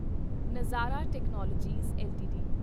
ਨਜ਼ਾਰਾ Technologies LTD